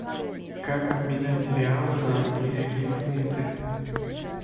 как обменять реалы на английские фунты